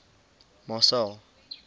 marcel